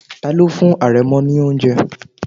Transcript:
Tani ó fún àrẹ̀mọ ní oúnjẹ?